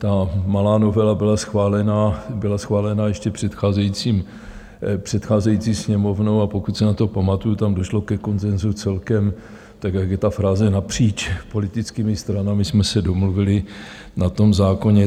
Ta malá novela byla schválena ještě předcházející Sněmovnou, a pokud se na to pamatuju, tam došlo ke konsenzu celkem, tak jak je ta fráze, napříč politickými stranami jsme se domluvili na tom zákoně.